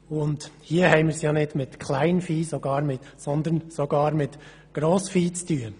» Hier haben wir es sogar mit Grossvieh zu tun.